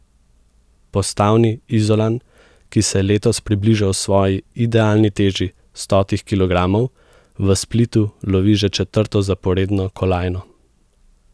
Postavni Izolan, ki se je letos približal svoji idealni teži stotih kilogramov, v Splitu lovi že četrto zaporedno kolajno.